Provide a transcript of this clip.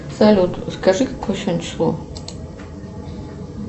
салют скажи какое сегодня число